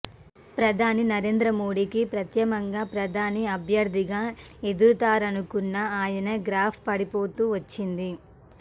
ప్రధాని నరేంద్ర మోదీకి ప్రత్యామ్నాంగా ప్రధాని అభ్యర్థిగా ఎదుగుతారనుకున్న ఆయన గ్రాఫ్ పడిపోతూ వచ్చింది